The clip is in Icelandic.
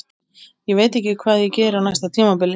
Ég veit ekki hvað ég geri á næsta tímabili.